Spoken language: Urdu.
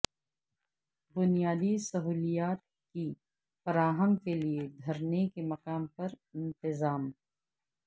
بنیادی سہولیات کی فراہمی کے لیے دھرنے کے مقام پر انتظام